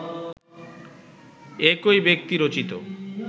একই ব্যক্তি রচিত